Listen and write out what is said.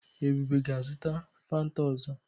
Ebube ga-azụta Fanta ọzọ.